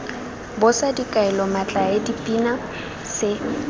bosa dikaelo metlae dipina se